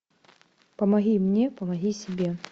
помоги мне помоги себе